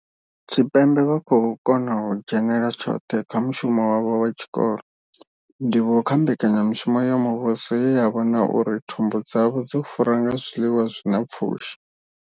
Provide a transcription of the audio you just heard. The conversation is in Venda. Tshipembe vha khou kona u dzhenela tshoṱhe kha mushumo wavho wa tshikolo, ndivhuwo kha mbekanya mushumo ya muvhuso ye ya vhona uri thumbu dzavho dzo fura nga zwiḽiwa zwa pfushi.